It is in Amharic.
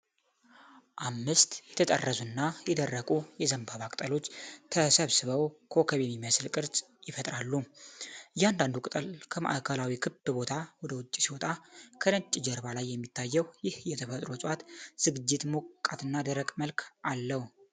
አምስት የተጠረዙና የደረቁ የዘንባባ ቅጠሎች ተሰባስበው ኮከብ የሚመስል ቅርፅ ይፈጥራሉ። እያንዳንዱ ቅጠል ከማዕከላዊ ክብ ቦታ ወደ ውጭ ሲወጣ፣ ከነጭ ጀርባ ላይ የሚታየው ይህ የተፈጥሮ የእፅዋት ዝግጅት ሞቃትና ደረቅ መልክ አለው።